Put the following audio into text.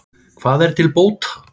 Hvað er til bóta?